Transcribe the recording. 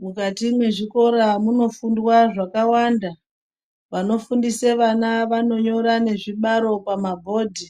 Mukati mwezvikora munofundwa zvakawanda vanofundise vana vanonyora nezvibaro pamabhodhi.